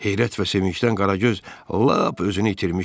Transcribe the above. Heyrət və sevincdən Qaragöz lap özünü itirmişdi.